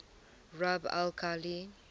rub al khali